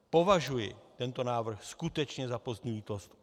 Považuji tento návrh skutečně za pozdní lítost.